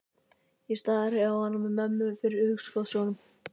Ég stari á hana með mömmu fyrir hugskotssjónum.